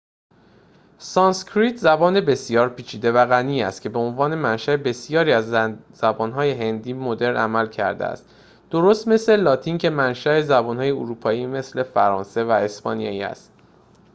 سانسکریت زبانی بسیار پیچیده و غنی است که به‌عنوان منشاء بسیاری از زبان‌های هندی مدرن عمل کرده است درست مثل لاتین که منشاء زبان‌های اروپایی مثل فرانسه و اسپانیایی است